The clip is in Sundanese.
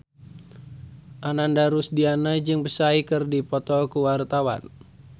Ananda Rusdiana jeung Psy keur dipoto ku wartawan